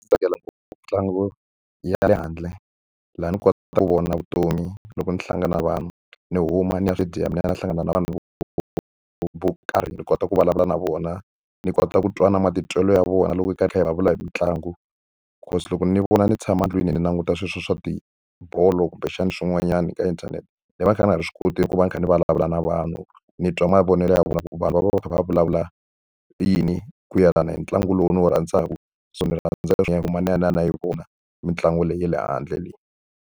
Ndzi tsakela mitlangu ya le handle laha ni kota ku vona vutomi loko ndzi hlangana na vanhu, ni huma ni ya ni ya hlangana na vanhu vo karhi ni kota ku vulavula na vona. Ni kota ku twa na matitwelo ya vona loko hi karhi hi vulavula hi mitlangu. Because loko ni vona ni tshama ndlwini ni languta sweswo swa tibolo kumbexana swin'wanyani ka inthanete, ni va ni kha ni nga swi koti ku va ni kha ni vulavula na vanhu, ni twa mavonelo ya vona. Ku vanhu va va va kha va vulavula yini ku yelana ni ntlangu lowu ndzi wu rhandzaka. So ni rhandza leswaku ni huma ni ya ni ya yi vona mitlangu leyi ya le handle.